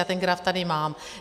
Já ten graf tady mám.